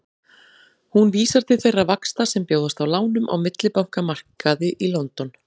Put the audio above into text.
Hún vísar til þeirra vaxta sem bjóðast á lánum á millibankamarkaði í London.